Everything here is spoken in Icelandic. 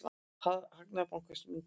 Hagnaður bankans minnki.